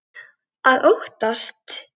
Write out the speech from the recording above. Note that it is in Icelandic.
Að óttast!